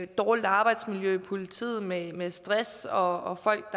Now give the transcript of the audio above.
dårligt arbejdsmiljø i politiet med med stress og folk